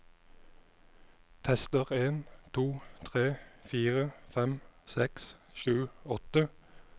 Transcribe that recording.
Tester en to tre fire fem seks sju åtte